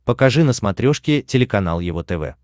покажи на смотрешке телеканал его тв